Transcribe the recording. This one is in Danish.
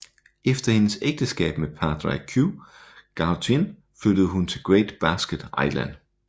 Efter hendes ægteskab med Pádraig Ó Gaoithín flyttede hun til Great Blasket Island